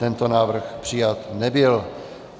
Tento návrh přijat nebyl.